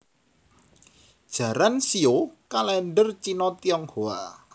Jaran shio kalèndher Cina Tionghoa